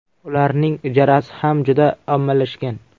Ularning ijarasi ham juda ommalashgan.